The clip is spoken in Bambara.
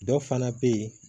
Dɔ fana bɛ yen